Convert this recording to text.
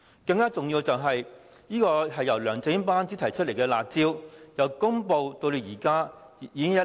更重要的是，由梁振英班子提出的"辣招"，由公布至今已經一年。